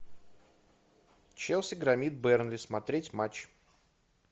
челси громит бернли смотреть матч